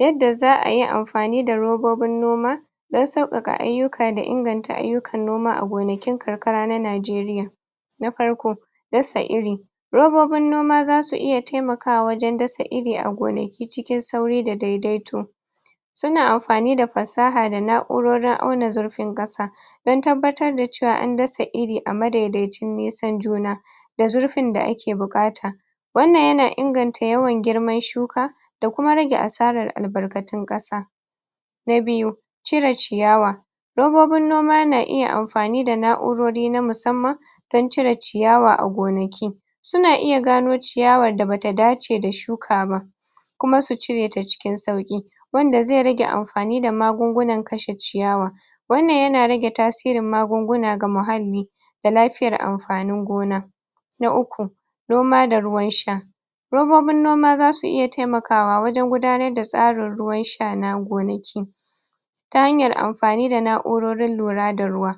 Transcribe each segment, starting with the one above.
Yanda za'a yi amfani da robobin noma dan sauƙaƙa ayyuka da inganta ayyukan noma a gonakin karkara na najeriya na farko; dasa iri robobin noma zasu iya taimakawa wajen dasa iri a gonaki cikin sauri da daidaito suna amfani da fasaha da na'urorin auna zurfin ƙasa don tabbatar da cewa an dasa iri a madaidaicin nisan juna da zurfin da ake buƙata wannan yana inganta yawan girman shuka da kuma rage asarar albarkatun ƙasa na biyu; cire ciyawa robobin noma yana iya amfani da na'urori na musamman don cire ciyawa a gonaki suna iya gano ciyawar da bata dace da shuka kuma su cire ta cikin sauƙi wanda zai rage amfani da magungunan kashe ciyawa wannan yana rage tasirin magunguna ga muhalli da lafiyar amfanin gona na uku; noma da ruwan sha robobin noma zasu iya taimakawa wajen gudanar da tsarin ruwan sha na gonaki ta hanyar amfani da na'urorin lura da ruwa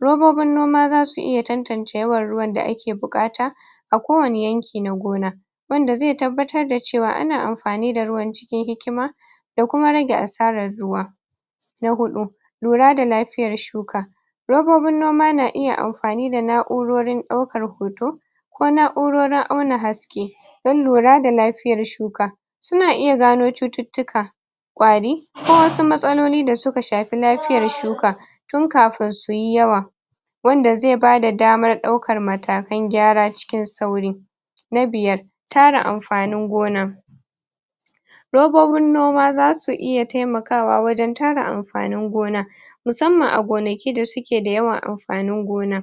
robobin noma zasu iya tantance yawan ruwan da ake buƙata a ko wane yanki na gona wanda zai tabbatar da cewa ana am fani da ruwan cikin hikima da kuma rage asarar ruwa na huɗu; lura da lafiyar shuka robobin noma na iya am.. fani da na'urorin ɗaukar hoto ko na'urorin auna haske don lura da lafiyar shuka suna iya gano cututtuka ƙwarii ko wasu matsaloli da suka shafi lafiyar shuka tun kafun suyi yawa wanda zai bada damar ɗaukar mata kan gyara cikin sauri na biyar; tara amfanin gona robobin noma zasu iya taimaka wajen tara amfanin gona musamman a gona ki da suke da yawan am fanin gona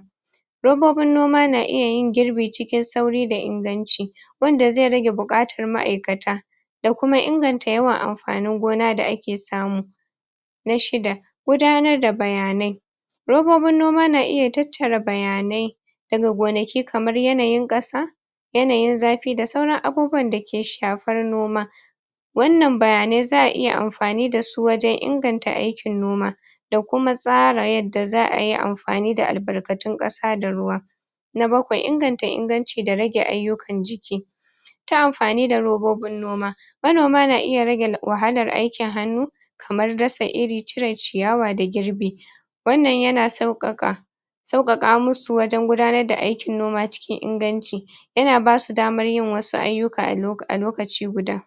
robobin noma na iya yin girbi cikin sauri da inganci wanda zai rage buƙatar ma'aikata da kuma inganta yawan am.. fanin gona da ake samu na shida; gudanar da bayanai robobin noma na iya tattara bayanai daga gonaki kamar yanayin ƙasa yanayin zafi da sauran abubuwan dake shafar noma wannan bayanai za'a iya am fani dasu wajen inganta aikin noma da kuma tsara yadda za'a yi amfani da albarkatun ƙasa da ruwa na bakwai; inganta inganci da kuma rage aikin jiki ta amfani da robobin noma manoma na iya rage wahalar aikin hannu kamar dasa iri, cire ciyawa da girbi wannan yana sauƙaƙa sauƙaƙa musu wajen gudanar da aikin noma cikin inganci yana basu damar yin wasu ayyuka a loka lokaci guda